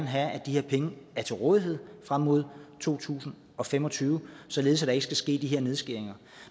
have at de her penge er til rådighed frem mod to tusind og fem og tyve således at der ikke skal ske de nedskæringer